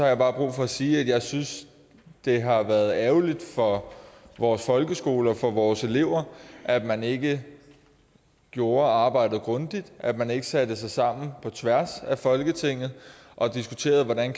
jeg bare brug for at sige at jeg synes at det har været ærgerligt for vores folkeskoler for vores elever at man ikke gjorde arbejdet grundigt at man ikke satte sig sammen på tværs af folketinget og diskuterede hvordan